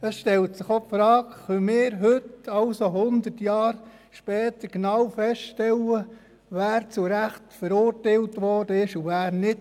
Für mich stellt sich auch die Frage, ob wir heute, hundert Jahre später, genau feststellen können, wer zu Recht verurteilt wurde und wer nicht.